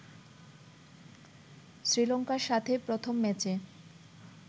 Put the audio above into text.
শ্রীলংকার সাথে প্রথম ম্যাচে